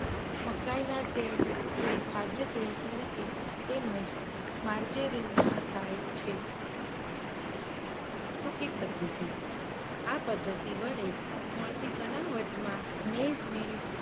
મકાઇના તેલનો ઉપયોગ ખાધ્ય તેલ તરીકે તેમજ માર્જેરીનમાં થાય છે. સુકી પધ્ધતિ- આ પધ્ધતિ વડે મળતી બનાવટમાં મેધ મે